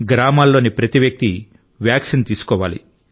గ్రామాల్లోని ప్రతి వ్యక్తి వ్యాక్సిన్ తీసుకోవాలి